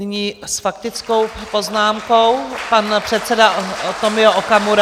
Nyní s faktickou poznámkou pan předseda Tomio Okamura.